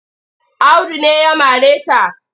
Audu ne ya mare ta.